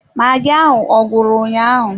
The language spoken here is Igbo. Magi ahụ ọ gwụrụ ụnyaahụ?